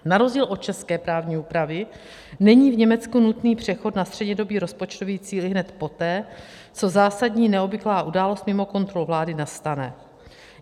Na rozdíl od české právní úpravy není v Německu nutný přechod na střednědobý rozpočtový cíl ihned poté, co zásadní neobvyklá událost mimo kontrolu vlády nastane.